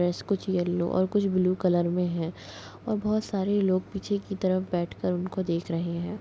Dress कुछ yellow और कुछ ब्लू कलर मे है और बोहत सारे लोग पीछे की तरफ बैठ कर उनको देख रहे है।